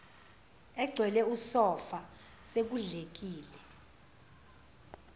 egcwele usofa sekudlekile